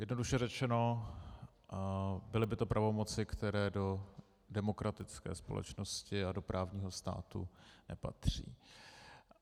Jednoduše řečeno, byly by to pravomoci, které do demokratické společnosti a do právního státu nepatří.